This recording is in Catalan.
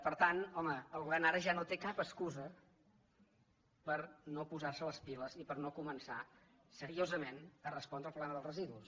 per tant home el govern ara ja no té cap excusa per no posar·se les piles i per no començar seriosament a respondre el problema dels residus